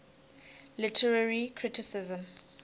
literary criticism